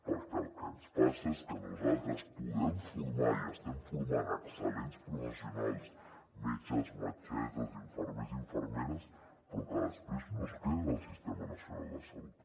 perquè el que ens passa és que nosaltres podem formar i estem formant excel·lents professionals metges metgesses infermers infermeres però que després no es queden al sistema nacional de salut